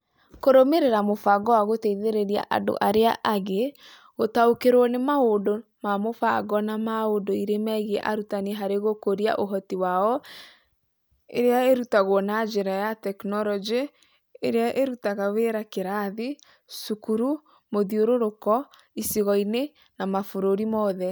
Kũrũmĩrĩra mũbango wa gũteithĩrĩria andũ arĩa angĩ; gũtaũkĩrũo nĩ maũndũ ma mũbango na ma ũndũire megiĩ arutani harĩ gũkũria ũhoti wao, ĩrĩa ĩrutagwo na njĩra ya tekinoronjĩ ĩrĩa ĩrutaga wĩra kĩrathi, cukuru, mũthiũrũrũko, icigo-inĩ, na mabũrũri mothe